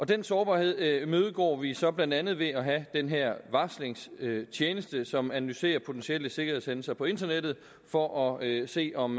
den sårbarhed imødegår vi så blandt andet ved at have den her varslingstjeneste som analyserer potentielle sikkerhedshændelser på internettet for at at se om